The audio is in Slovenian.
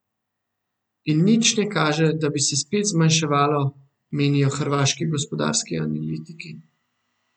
In nič ne kaže, da bi se spet zmanjševalo, menijo hrvaški gospodarski analitiki.